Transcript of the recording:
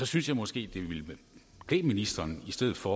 synes jeg måske det ville klæde ministeren i stedet for